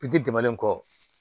Biti tɛmɛnen kɔ